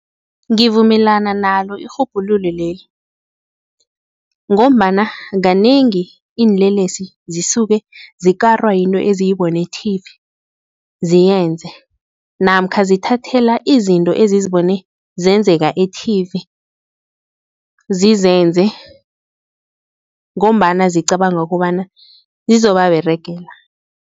Ngivumelana nalo irhubhululo leli ngombana, kanengi iinlelesi zisuke zikarwa eziyibone e-tv ziyenza namkha zithathela izinto ezizibone zenzeka e-tv zizenze ngombana zicabanga kobana zizobaberegela.